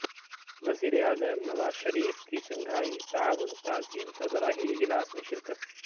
وزیراعظم نواز شریف کی شنگھائی تعاون تنظیم سربراہی اجلاس میں شرکت